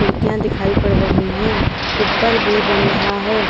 दिखाई पड़ रही है ऊपर भी बन रहा है।